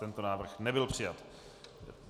Tento návrh nebyl přijat.